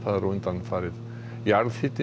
jarðhitinn í Bárðarbungu sé